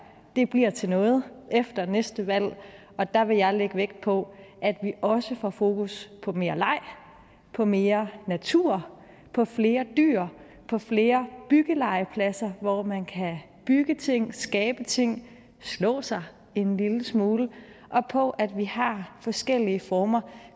bliver til noget efter næste valg og der vil jeg lægge vægt på at vi også får fokus på mere leg på mere natur på flere dyr på flere byggelegepladser hvor man kan bygge ting skabe ting slå sig en lille smule og på at vi har forskellige former